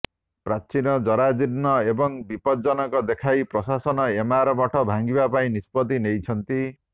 ପ୍ରାଚୀନ ଜରାଜୀର୍ଣ୍ଣ ଏବଂ ବିପଦଜନକ ଦେଖାଇ ପ୍ରଶାସନ ଏମାର ମଠ ଭାଙ୍ଗିବା ପାଇଁ ନିଷ୍ପତ୍ତି ନେଇଛନ୍ତି